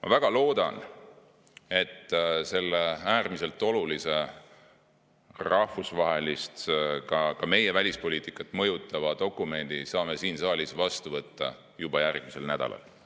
Ma väga loodan, et selle äärmiselt olulise rahvusvahelist, ka meie enda välispoliitikat mõjutava dokumendi saame siin saalis vastu võtta juba järgmisel nädalal.